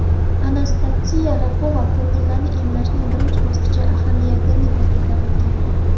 Anastasiya Rakova ko‘ngillilarni emlashning birinchi bosqichi ahamiyatini ta’kidlab o‘tgan.